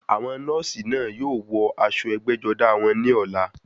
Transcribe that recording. Àwọn nọ́ọ̀sì náà yóò wọ aṣọ ẹgbẹ́-jọdá wọn ní ọ̀la.